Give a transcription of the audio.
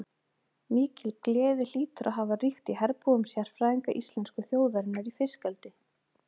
Mikil gleði hlýtur að hafa ríkt í herbúðum sérfræðinga íslensku þjóðarinnar í fiskeldi.